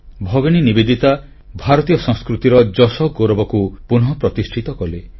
ଭଗିନୀ ନିବେଦିତା ଭାରତୀୟ ସଂସ୍କୃତିର ଯଶଗୌରବକୁ ପୁନଃପ୍ରତିଷ୍ଠିତ କଲେ